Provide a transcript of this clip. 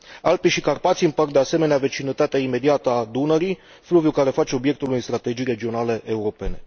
Alpii și Carpații împart de asemenea vecinătatea imediată a Dunării, fluviu care face obiectul unei strategii regionale europene.